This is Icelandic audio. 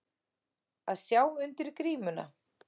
Að sjá undir grímuna